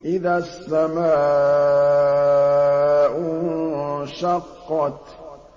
إِذَا السَّمَاءُ انشَقَّتْ